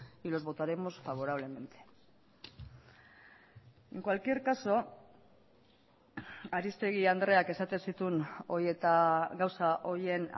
y los votaremos favorablemente en cualquier caso aristegi andreak esaten zituen hori eta gauza horien